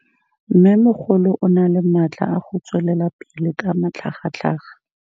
Mmêmogolo o na le matla a go tswelela pele ka matlhagatlhaga.